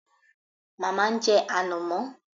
Màmá ń jẹ ànàmọ́